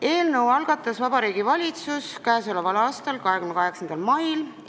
Eelnõu algatas Vabariigi Valitsus k.a 28. mail.